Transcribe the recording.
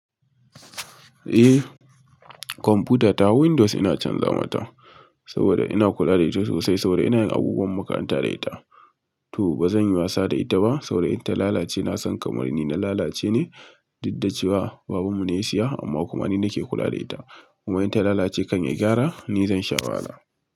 Eh kwamfuta ta Windows ina can zamata saboda ina kula da ita sosai saboda ina yin abubuwan makaranta da ita. To ba zan yi masa da ita ba saboda in ta lalace na san kamar ni na lalace ne, duk da cewa babanmu ne ya siya amma kuma ni nake kula da ita. Kuma in ta lalace kan ya gyara ni zan sha wahala.